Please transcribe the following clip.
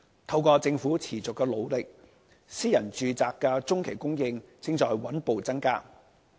透過政府持續的努力，私人住宅的中期供應正在穩步增加。